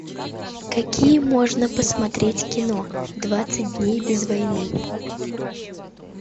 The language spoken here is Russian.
какие можно посмотреть кино двадцать дней без войны